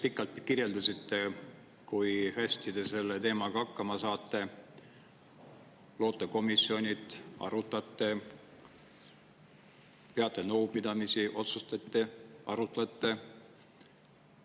Te täna kirjeldasite päris pikalt, kui hästi te selle teemaga hakkama saate: loote komisjonid, arutate, peate nõupidamisi, otsustate, arutate.